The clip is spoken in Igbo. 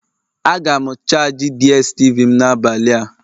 Aga m charji DSTV m n'abalị a